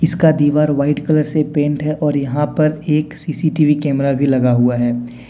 का दीवार white colour से पेंट है और यहां पर एक सी_सी_टी_वी कैमरा भी लगा हुआ है।